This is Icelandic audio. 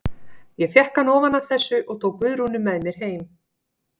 Ég fékk hann ofan af þessu og tók Guðrúnu með mér heim.